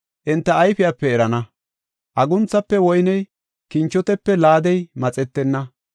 Hinte enta, enta ayfiyape erana; agunthafe woyney, kinchotepe laadey maxetenna.